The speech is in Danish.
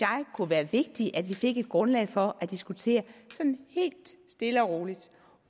kunne være vigtig at vi fik et grundlag for at diskutere sådan helt stille og roligt